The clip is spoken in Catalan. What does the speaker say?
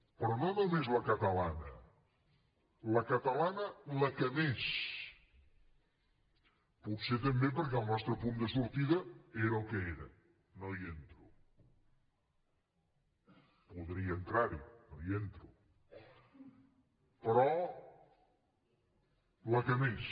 però no només la catalana la catalana la que més potser també perquè el nostre punt de sortida era el que era no hi entro podria entrar hi no hi entro però la que més